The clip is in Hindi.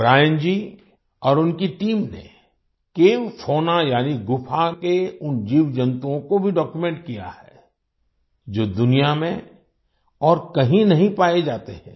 ब्रियान जी और उनकी टीम ने केव फौना यानि गुफा के उन जीवजंतुओं को भी डॉक्यूमेंट किया है जो दुनिया में और कहीं नहीं पाए जाते हैं